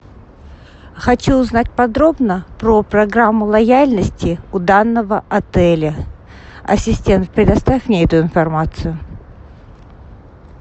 хочу узнать подробно про программу лояльности у данного отеля ассистент предоставь мне эту информацию